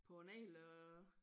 På en hel øh